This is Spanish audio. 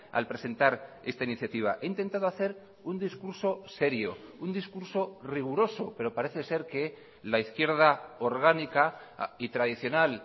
al presentar esta iniciativa he intentado hacer un discurso serio un discurso riguroso pero parece ser que la izquierda orgánica y tradicional